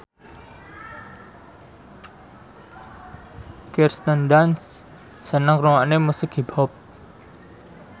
Kirsten Dunst seneng ngrungokne musik hip hop